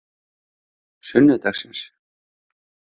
sunnudagsins